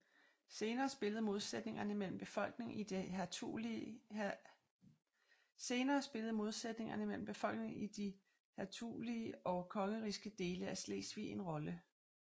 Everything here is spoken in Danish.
Senere spillede modsætningerne mellem befolkningen i de hertugelige og kongerigske dele af Slesvig en rolle